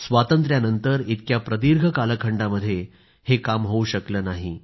स्वातंत्र्यानंतर इतक्या प्रदीर्घ कालखंडामध्ये हे काम होऊ शकलं नाही